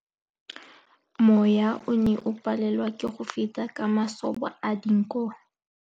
Mowa o ne o palelwa ke go feta ka masoba a dinko.